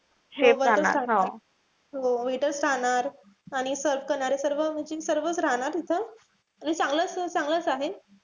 हो waiters राहणार. आणि serve करणारे म्हणजे सर्व सर्वच राहणार इथं. आणि चांगलच चांगलच आहे.